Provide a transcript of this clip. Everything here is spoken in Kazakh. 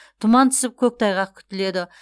тұман түсіп көктайғақ күтіледі